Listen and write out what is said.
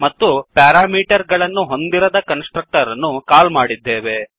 ಮತ್ತು ಪ್ಯಾರಾಮೀಟರ್ ಗಳನ್ನು ಹೊಂದಿರದ ಕನ್ಸ್ ಟ್ರಕ್ಟರ್ ಅನ್ನು ಕಾಲ್ ಮಾಡಿದ್ದೇವೆ